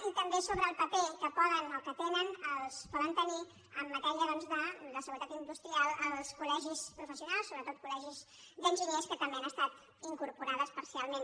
i també sobre el paper que tenen poden tenir en matèria doncs de seguretat industrial els col·sionals sobretot col·legis d’enginyers que també han estat incorporades parcialment